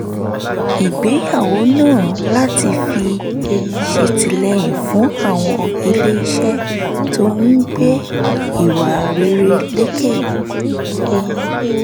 ìgbéyàwó náà láti fi ṣètìlẹyìn fún àwọn iléeṣẹ́ tó ń gbé ìwà rere lékè